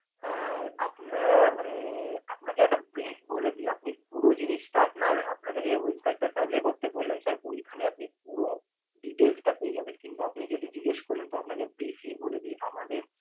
আহ আপনারা মানে আপনাকে একটা brief বলে দিই। আপনি পুরো জিনিসটা আপানার আপনাকে যে website টা করতে বললাম sir ওইখানে আপনি পুরো details টা পেয়ে যাবেন কিন্তু আপনি যেহেতু জিগ্যেস করলেন তো আপনাকে briefly বলে দি। আমাদের